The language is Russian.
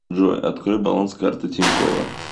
джой открой баланс карты тинькова